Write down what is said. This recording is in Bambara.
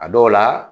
A dɔw la